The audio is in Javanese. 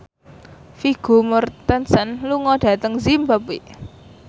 Vigo Mortensen lunga dhateng zimbabwe